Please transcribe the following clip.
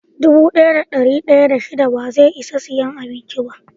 Dubu daya da dari daya da shida ba zai Isan siya abincin ba.